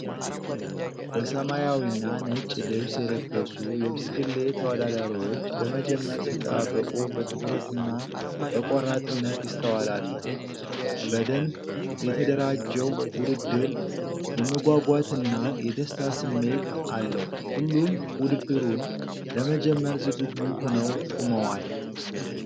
በሰማያዊና ነጭ ልብስ የለበሱ የብስክሌት ተወዳዳሪዎች ለመጀመር ሲጠባበቁ በትኩረትና በቆራጥነት ይስተዋላሉ። በደንብ የተደራጀው ውድድር የመጓጓትና የደስታ ስሜት አለው፣ ሁሉም ውድድሩን ለመጀመር ዝግጁ ሆነው ቆመዋል።